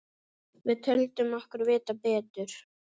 Við töldum okkur vita betur.